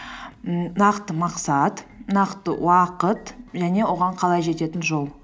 ммм нақты мақсат нақты уақыт және оған қалай жететін жол